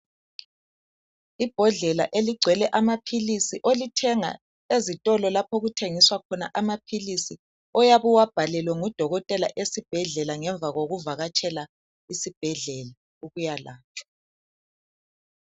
Ibhodlela eligcwele amaphilisi olithenga ezitolo lapho okuthengiswa khona amaphilisi oyabe uwabhalelwe ngudokotela esibhedlela ngemva kokuvakatshela isibhedlela uyalatshwa